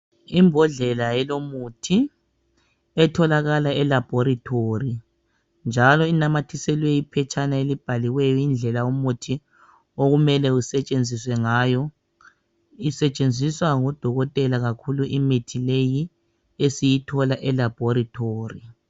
Imbodlela elomuthi etholakala e laboratory njalo inamathiselwe iphetshana elibhaliweyo indlela umuthi okumele usetshenziswe ngayo Isetshenziswa ngodokotela kakhulu imithi leyi esiyithola e laboratory.